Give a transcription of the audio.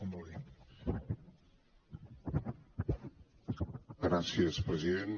gràcies president